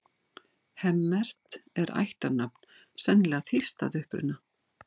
Hemmert er ættarnafn, sennilega þýskt að uppruna.